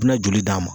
I bi na joli d'a ma